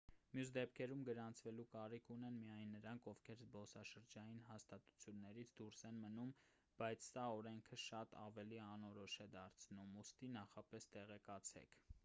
մյուս դեպքերում գրանցվելու կարիք ունեն միայն նրանք ովքեր զբոսաշրջային հաստատություններից դուրս են մնում բայց սա օրենքը շատ ավելի անորոշ է դարձնում ուստի նախապես տեղեկացեք